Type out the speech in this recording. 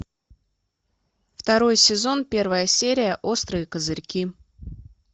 второй сезон первая серия острые козырьки